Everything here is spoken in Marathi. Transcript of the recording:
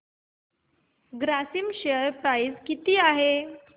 ग्रासिम शेअर प्राइस किती आहे